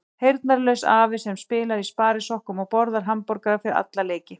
Heyrnarlaus afi sem spilar í sparisokkum og borðar hamborgara fyrir alla leiki.